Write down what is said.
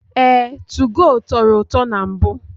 Ee, tugo tọrọ ụtọ na mbụ.